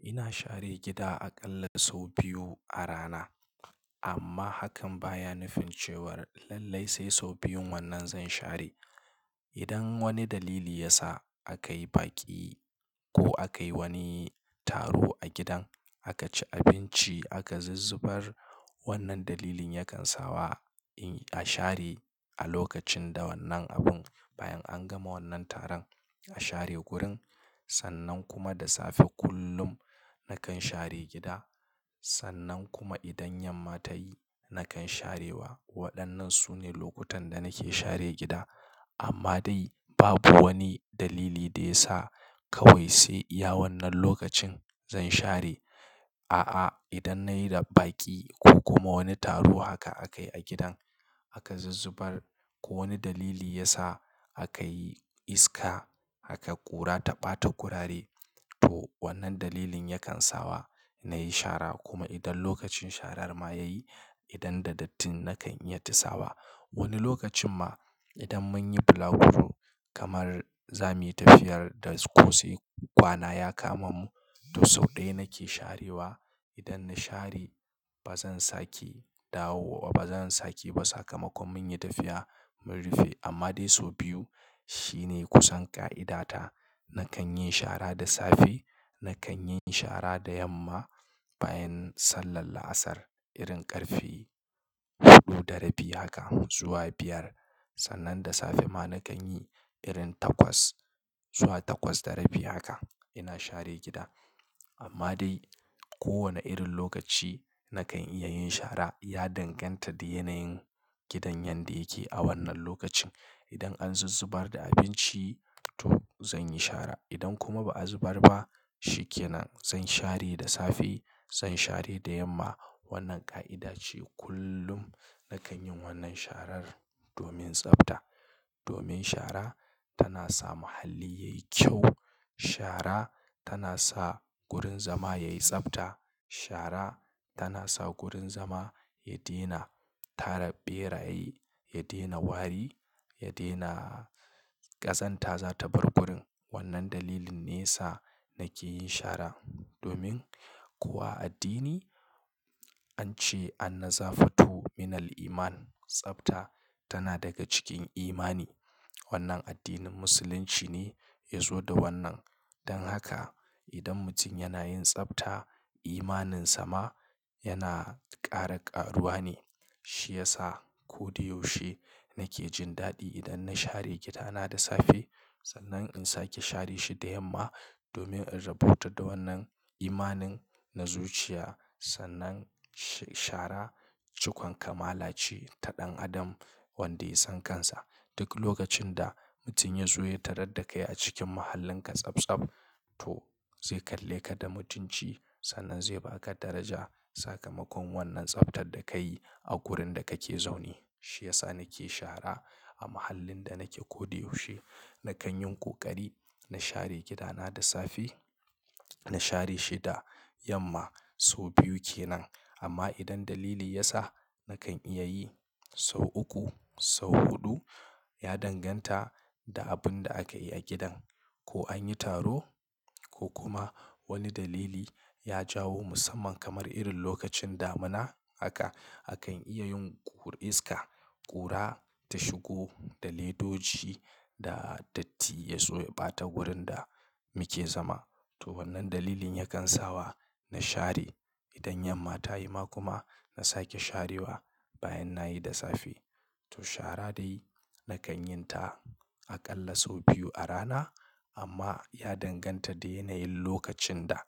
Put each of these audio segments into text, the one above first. Ina share gida aƙalla sau biyu a rana. Amma hakan ba ya nufin cewar lallai sai sau biyun wannan zan share. Idan wani dalili ya sa aka yi baki ko aka yi wani taro a gidan, aka ci abinci, aka zuzzubar, wannan dalilin yakan sa wa in a share a lokacin da wannan abun. Bayan an gama wannan taron, a share gurin. Sannan kuma da safe kullum nakan share gida. Sannan kuma idan yamma ta yi, nakan sharewa. Waɗannan su ne lokutan da nake share gida. Amma dai babu wani dalili da ya sa kawai sai iya wannan lokacin zan share. A'a, idan na yi da baki ko kuma wani taro haka aka yi a gidan, aka zuzzubar ko wani dalili ya sa aka yi iska, aka ƙura ta ɓata kurare, to wannan dalilin yakan sa wa na yi shara. Kuma idan lokacin sharar ma ya yi, idan da datti nakan iya tisawa. Wani lokacin ma idan mun yi bulaguro kamar zamu yi tafiyar da ko sai kwana ya kama mu, to sau ɗaya nake sharewa. Idan na share ba zan sake dawo wa ba, zan sake ba sakamakon mun yi tafiya mun rufe. Amma dai sau biyu shine kusan ƙa'ida ta. Nakan yi shara da safe, na kan yi shara da yamma bayan sallar la'asar. Irin ƙarfe huɗu da rabi haka zuwa biyar. Sannan da safe ma na kan yi irin takwas zuwa takwas da rabi haka ina share gida. Amma dai kowane irin lokaci na kan iya yin shara ya danganta da yanayin gidan yadda yake a wannan lokacin. Idan an zuzzubar da abinci, to zan yi shara. Idan kuma ba'a zubar ba, shi ke nan zan share da safe, zan share da yamma. Wannan ƙa'ida ce kullum na kan yin wannan sharar domin tsafta. Domin shara tana sa muhalli yayi kyau. Shara tana sa gurin zama yayi tsafta. Shara tana sa gurin zama ya daina tara ɓeraye, ya daina wari, ya daina ƙazanta za ta bar gurin. Wannan dalilin ne sa nake yin shara. Domin kuwa a addini an ce "Annazafatu minal Iman." Tsafta tana daga cikin imani. Wannan addinin musulunci ne ya zo da wannan. Dan haka idan mutum yana yin tsafta, imaninsa ma yana ƙara ƙaruwa ne. Shi yasa ko da yaushe nake jin daɗi idan na share gida na da safe. Sannan in sake share shi da yamma domin in rabauta da wannan imanina, na zuciya. Sannan shara cikon kamala ce ta ɗan adam wanda ya san kansa. Duk lokacin da mutum ya zo ya tarar da kai a cikin mahallinka tsabtsab, to zai kalle ka da mutunci. Sannan zai baka daraja sakamakon wannan tsaftar da ka yi a wurin da kake zaune. Shi ya sa nake shara a mahallin da nake ko da yaushe. Na kan yin ƙoƙari na share gida na da safe, na share shi da yamma. Sau biyu ke nan. Amma idan dalili ya sa na kan iya yi sau uku, sau huɗu, ya danganta da abun da aka yi a gidan. Ko an yi taro ko kuma wani dalili ya jawo musamman kamar irin lokacin damina haka, akan iya yin ƙur iska, ƙura ta shigo, da ledoji da datti ya so ya ɓata wurin da muke zama. To wannan dalilin yakan sa wa na share idan yamma ta yi. Ma kuma na sake sharewa bayan na yi da safe. To shara dai na kan yin ta aƙalla sau biyu a rana. Amma ya danganta da yanayin lokacin da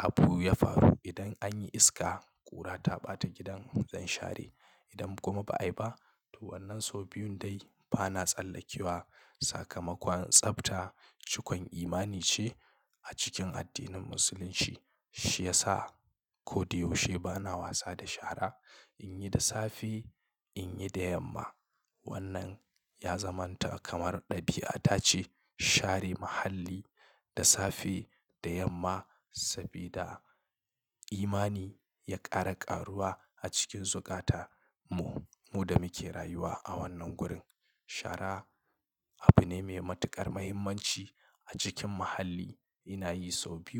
abu ya faru. Idan an yi iska, ƙura ta ɓata gidan, zan share. Idan kuma ba ai ba, to wannan sau biyun dai bana tsallakewa sakamakon tsafta cikon imani ce a cikin addinin musulunci. Shi ya sa ko da yaushe bana wasa da shara. In yi da safe, in yi da yamma. Wannan ya zamanta kamar ɗabi'a. Tace share muhalli da safe, da yamma sabida imani ya ƙara ƙaruwa a cikin zukata mu, mu da muke rayuwa a wannan gurin. Shara abu ne mai matuƙar muhimmanci a cikin muhalli. Ina yi sau biyu.